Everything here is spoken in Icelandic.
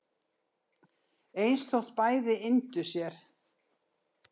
eins þótt bæði yndu sér